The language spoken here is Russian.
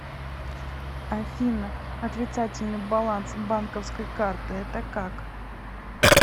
афина отрицательный баланс банковской карты это как